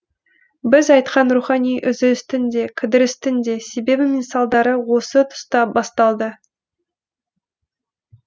біз айтқан рухани үзілістің де кідірістің де себебі мен салдары осы тұста басталды